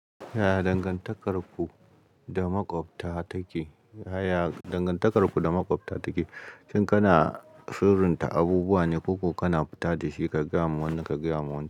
Ya dangantakar ku da maƙwabta take, ya dangantakar ku da maƙwabta take. Shin kana sirinta abubuwa ne ko kuma kana fita da shi ka gaya wa wanda ka gaya wa wancan?